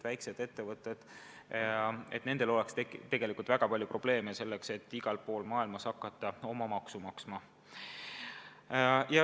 Väikestel ettevõtetel oleks väga palju probleeme, kui nad peaksid igal pool maailmas hakkama oma maksu maksma.